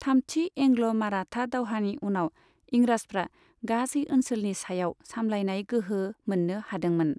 थामथि एंग्ल' माराठा दावहानि उनाव, इंराजफ्रा गासै ओनसोलनि सायाव सामलायनाय गोहो मोननो हादोंमोन।